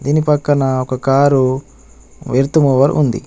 దీని పక్కన ఒక కారు ఎర్త్ మూవర్ ఉంది.